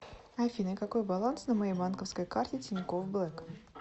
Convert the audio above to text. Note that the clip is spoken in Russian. афина какой баланс на моей банковской карте тинькофф блэк